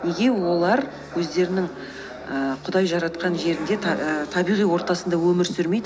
неге олар өздерінің ііі құдай жаратқан жерінде і табиғи ортасында өмір сүрмейді